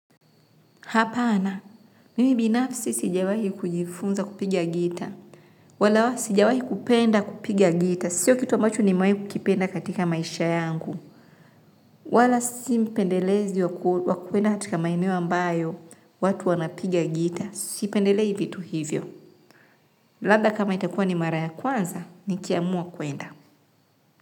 Hapana, mimi binafsi sijawahi kujifunza kupiga gita, wala sijawahi kupenda kupiga gita, sio kitu ambacho nimewai kukipenda katika maisha yangu, wala simpendelezi wa kwenda katika maeneo ambayo watu wanapiga gita, sipendelei vitu hivyo. Labda kama itakua ni mara ya kwanza, nikiamua kwenda.